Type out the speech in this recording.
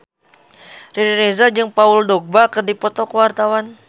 Riri Reza jeung Paul Dogba keur dipoto ku wartawan